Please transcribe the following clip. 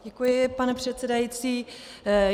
Děkuji, pane předsedající.